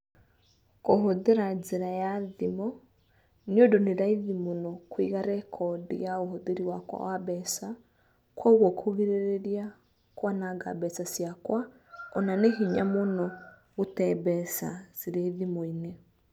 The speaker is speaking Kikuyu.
Kũhũthĩra njĩra ya thimũ nĩ ũndũ nĩ raithi mũno kũiga rekodi ya ũhũthĩri wakwa wa mbeca koguo kũgirĩrĩria kwananga mbeca ciakwa.